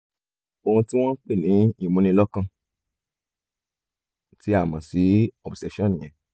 ohun tí wọ́n ń pè ní ìmúnilọ́kàn tí a mọ̀ sí obsession nìyẹn